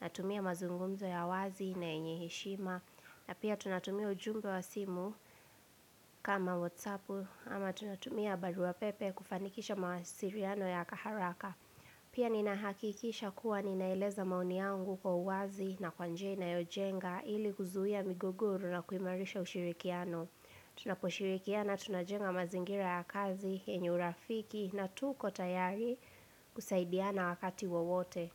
na tumia mazungumzo ya wazi na yenyeheshima. Na pia tunatumia ujumbe wa simu kama wotsapu ama tunatumia baru a pepe kufanikisha mawasiriano ya kaharaka. Pia ninahakikisha kuwa ninaeleza maoni yangu kwa uwazi na kwanjia ina yojenga ili kuzuia migogoro na kuimarisha ushirikiano. Tunaposhirikiana, tunajenga mazingira ya kazi, yenye urafiki na tuko tayari kusaidiana wakati wowote.